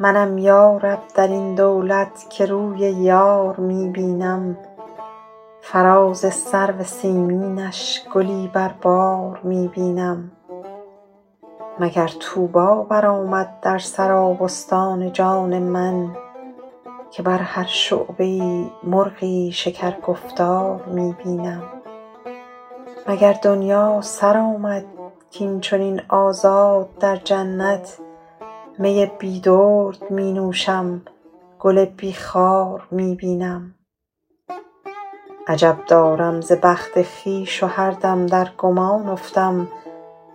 منم یا رب در این دولت که روی یار می بینم فراز سرو سیمینش گلی بر بار می بینم مگر طوبی برآمد در سرابستان جان من که بر هر شعبه ای مرغی شکرگفتار می بینم مگر دنیا سر آمد کاین چنین آزاد در جنت می بی درد می نوشم گل بی خار می بینم عجب دارم ز بخت خویش و هر دم در گمان افتم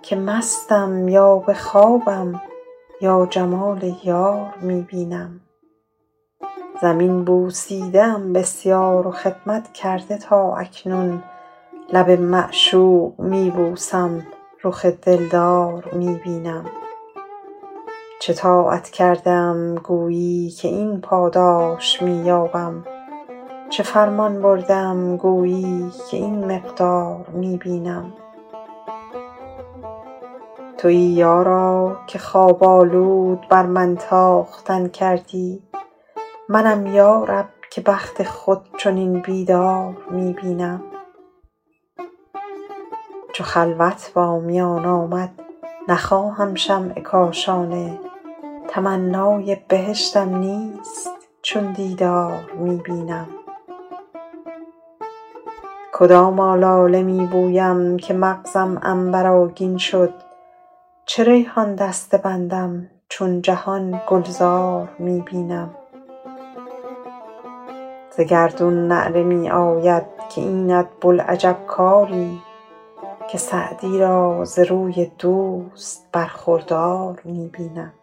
که مستم یا به خوابم یا جمال یار می بینم زمین بوسیده ام بسیار و خدمت کرده تا اکنون لب معشوق می بوسم رخ دلدار می بینم چه طاعت کرده ام گویی که این پاداش می یابم چه فرمان برده ام گویی که این مقدار می بینم تویی یارا که خواب آلود بر من تاختن کردی منم یا رب که بخت خود چنین بیدار می بینم چو خلوت با میان آمد نخواهم شمع کاشانه تمنای بهشتم نیست چون دیدار می بینم کدام آلاله می بویم که مغزم عنبرآگین شد چه ریحان دسته بندم چون جهان گلزار می بینم ز گردون نعره می آید که اینت بوالعجب کاری که سعدی را ز روی دوست برخوردار می بینم